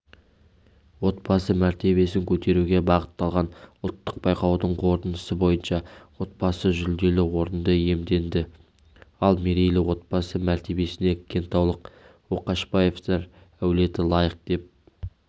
отбасы мәртебесін көтеруге бағытталған ұлттық байқаудың қорытындысы бойынша отбасы жүлделі орынды иемденді ал мерейлі отбасы мәртебесіне кентаулық ошақбаевтар әулеті лайық деп